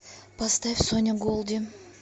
поставь соня голди